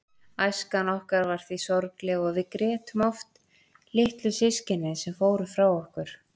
Æskan okkar var því sorgleg og við grétum oft litlu systkinin sem fóru frá okkur.